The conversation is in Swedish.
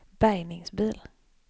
bärgningsbil